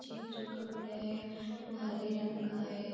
पीछे के जो कपड़े है वो हरे रंग का है।